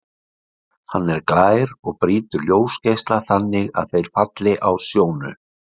Hann er glær og brýtur ljósgeisla þannig að þeir falli á sjónu.